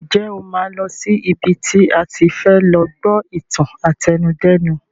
Ǹjẹ́ o máa lọ sí ibi tí a ti fẹ lọ gbọ́ ìtàn àtẹnudẹ́nu?